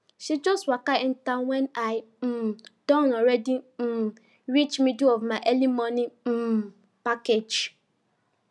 she just waka enta when i um don already um reach middle of my early mornin um package